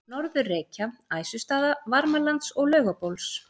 Norður-Reykja, Æsustaða, Varmalands og Laugabóls.